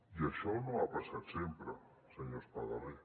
i això no ha passat sempre senyor espadaler